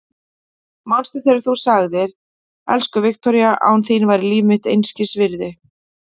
Manstu þegar þú sagðir: Elsku Viktoría, án þín væri líf mitt einskis virði.